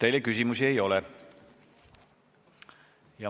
Teile küsimusi ei ole.